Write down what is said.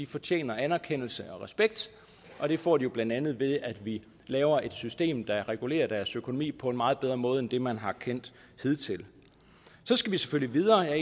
fortjener anerkendelse og respekt og det får de jo blandt andet ved at vi laver et system der regulerer deres økonomi på en meget bedre måde end det man har kendt hidtil så skal vi selvfølgelig videre og jeg er